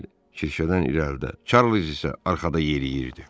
Hel Kirşədən irəlidə, Çarliz isə arxada yeriyirdi.